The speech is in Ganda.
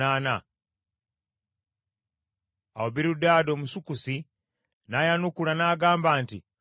Awo Birudaadi Omusukusi n’ayanukula n’agamba nti,